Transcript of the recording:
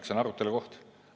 See on arutelu koht.